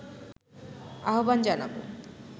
আহ্বান জানাবো